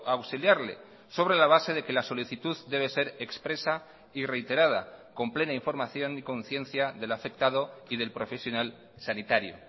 a auxiliarle sobre la base de que la solicitud debe ser expresa y reiterada con plena información y conciencia del afectado y del profesional sanitario